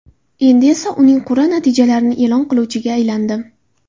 Endi esa uning qur’a natijalarini e’lon qiluvchiga aylandim.